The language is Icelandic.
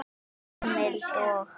Heimild og